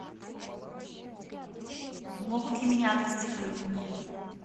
могут ли меня отвезти в больницу